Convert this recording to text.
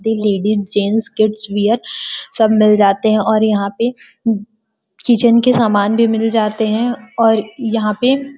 दी ladies gents kids wear सब मिल जाते हैं और यहाँ पे किचन के सामान भी मिल जाते हैं और यहाँ पे --